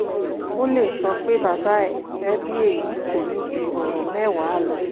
ó lè sọ pé baba ẹ̀tẹ̀ bí èyí kò ní ju ọ̀rọ̀ mẹ́wàá lọ